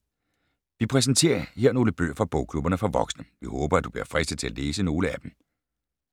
Vi præsenterer her nogle bøger fra bogklubberne for voksne. Vi håber, at du bliver fristet til at læse nogle af dem.